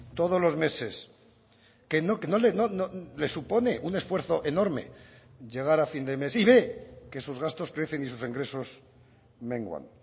todos los meses que le supone un esfuerzo enorme llegar a fin de mes y ve que sus gastos crecen y sus ingresos menguan